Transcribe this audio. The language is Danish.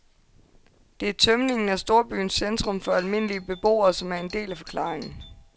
Det er tømningen af storbyernes centrum for almindelige beboere, som er en del af forklaringen.